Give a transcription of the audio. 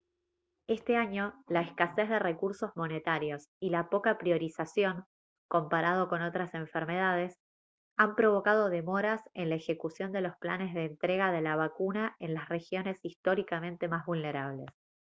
este año la escasez de recursos monetarios y la poca priorización comparado con otras enfermedades han provocado demoras en la ejecución de los planes de entrega de la vacuna en las regiones históricamente más vulnerables